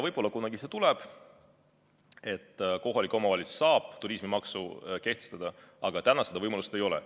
Võib-olla kunagi see võimalus tuleb, et kohalik omavalitsus saab turismimaksu kehtestada, aga täna seda võimalust ei ole.